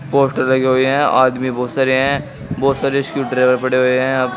Poster लगे हुए हैं आदमी बहुत सारे हैं बहुत सारे स्क्रू ड्राइवर पड़े हुए हैं।